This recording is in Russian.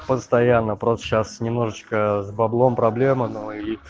постоянно просто сейчас немножечко с баблом проблема но и